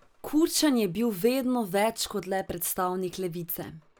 Kučan je bil vedno več kot le predstavnik levice.